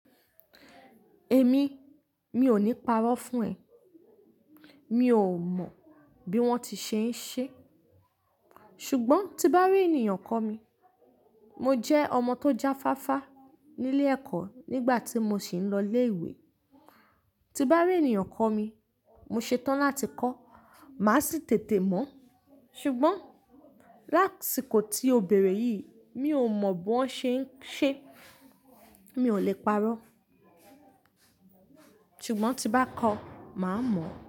Èmi, mi ò ní parọ́ fún ẹ. Mi ò mọ̀ bí wọ́n ti ṣe ń ṣe. Ṣùgbọ́n tí n bá rí ènìyàn kọ́ mi, mo jẹ́ ọmọ tó jáfáfá nílé ẹ̀kọ́ nígbà tí mo sì ń lọ ilé ìwé. Ti bá rí ènìyàn kọ́ mi, mo ṣetán láti kọ́. Máa sì tètè mọ̀. Ṣùgbọ́n lásìkò tí ó bẹ̀rẹ̀ yìí, mi ò mọ̀ bí wọ́n ṣe ń ṣe. Mi ò lè parọ́. Ṣùgbọ́n tí n bá kọ́, màá mọ̀.